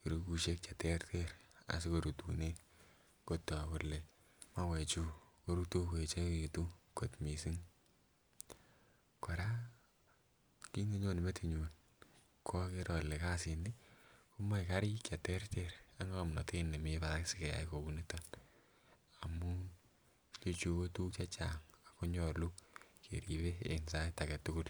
keregusiek cheterter asikorutunen kotok kele mauechu korutu koeechekitu kot missing. Kora kit nenyone metinyun okere ole kasit ni komoe karik cheterter ak ng'omnotet nemii barak sikeyai kouniton amun ichechu kotuguk chechang akonyolu keribe en sait aketugul